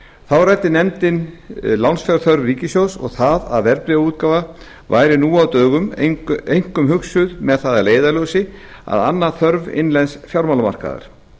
þá ræddi nefndin lánsfjárþörf ríkissjóðs og það að verðbréfaútgáfa væri nú á dögum einkum hugsuð með það að leiðarljósi að anna þörfum innlends fjármálamarkaðar